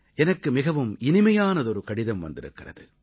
எனக்கு மிகவும் இனிமையானதொரு கடிதம் வந்திருக்கிறது